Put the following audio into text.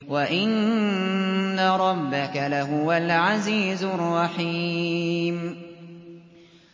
وَإِنَّ رَبَّكَ لَهُوَ الْعَزِيزُ الرَّحِيمُ